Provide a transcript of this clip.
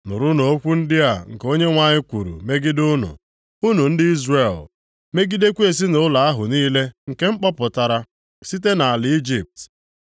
Nụrụnụ okwu ndị a nke Onyenwe anyị kwuru megide unu, unu ndị Izrel, megidekwa ezinaụlọ ahụ niile nke m kpọpụtara site nʼala Ijipt.